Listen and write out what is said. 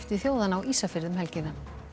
þjóðanna á Ísafirði um helgina